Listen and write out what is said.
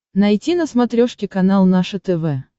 найти на смотрешке канал наше тв